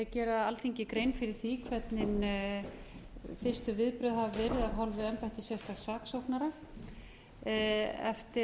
gera alþingi grein fyrir því hvernig fyrstu viðbrögð hafa verið af hálfu embættis sérstaks saksóknara eftir